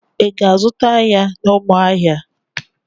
Ị ga-azụta ya n'Ụmụahịa.